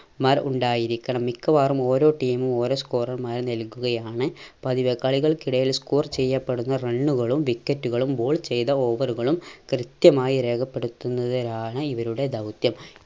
മാർ ഉണ്ടായിരിക്കണം മിക്കവാറും ഓരോ team ഉം ഓരോ score ർമാരെ നൽകുകയാണ് പതിവ് കളികൾക്കിടയിൽ score ചെയ്യപ്പെടുന്ന run കളും wicket കളും ball ചെയ്ത over കളും കൃത്യമായി രേഖപ്പെടുത്തുന്നതിലാണ് ഇവരുടെ ദൗത്യം